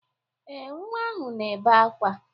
Ee, nwa ahụ na-ebe akwa.